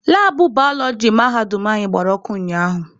Labụ balọọji mahadum anyị gbara ọkụ ụnyaahụ.